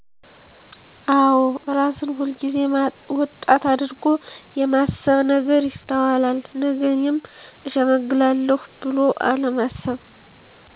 አወ እራስን ሁል ጊዜ ወጣት አድርጎ የማስብ ነገር ይስተዋላል ነገ እኔም እሸመግላለሁ ብሎ አለማሰብ